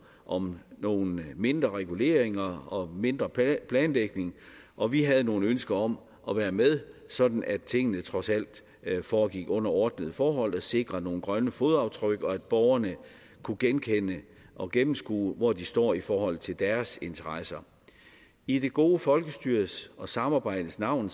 om nogle mindre reguleringer og mindre planlægning og vi havde nogle ønsker om at være med sådan at tingene trods alt foregik under ordnede forhold blev sikret nogle grønne fodaftryk og at borgerne kunne genkende og gennemskue hvor de står i forhold til deres interesser i det gode folkestyres og samarbejdes navn